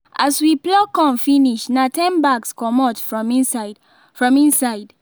as we pluck corn finish na ten bags comot from inside from inside